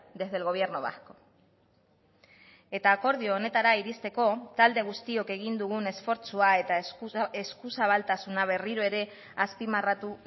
desde el gobierno vasco eta akordio honetara iristeko talde guztiok egin dugun esfortzua eta eskuzabaltasuna berriro ere azpimarratu